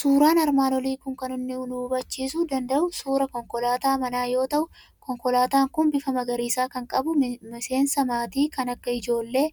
Suuraan armaan olii kun kan inni nu hubachiisuu danda'u suuraa konkolaataa manaa yoo ta'u, konkolaataan kun bifa magariiisa kan qabu, miseensa maatii kan akka ijoollee,